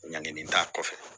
Ɲangenen t'a kɔfɛ